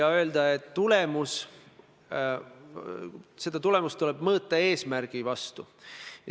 Aga see ei tähenda kuidagi seda, et me äkitselt ei oleks, ma ei tea, Euroopa Liidus või NATO-s.